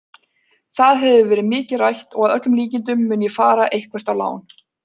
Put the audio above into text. Það hefur verið mikið rætt og að öllum líkindum mun ég fara eitthvert á lán.